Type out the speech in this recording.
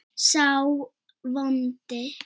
sá vondi